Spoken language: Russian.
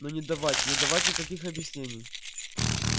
но не давать не давать никаких объяснений